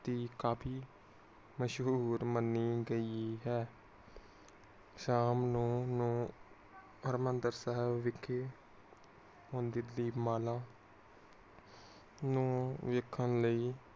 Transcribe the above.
ਦੀ ਕਾਫੀ ਮਸ਼ਹੂਰ ਮਨੀ ਗਈ ਹੈ। ਸ਼ਾਮ ਨੂੰ ਨੂੰ ਹਰਿਮੰਦਰ ਸਾਹਿਵ ਵਿਖੇ। ਦੀਪਮਾਲਾ ਨੂੰ ਵੇਖਣ ਲਈ।